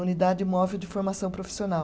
Unidade Móvel de Formação Profissional.